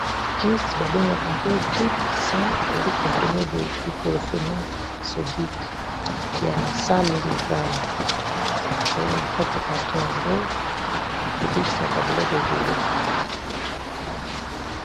Kisi babengaka ango dic-100 ezali comprime diclofenac sodic ya 100 mg ezali na kati ya carton yango ebikisaka biloko ebele